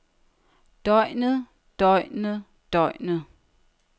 døgnet døgnet døgnet